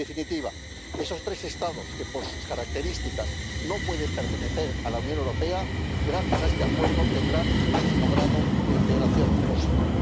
En definitiva, estos tres Estados, que por sus características no pueden pertenecer a la Unión Europea, gracias a este Acuerdo tendrán el máximo grado de integración posible.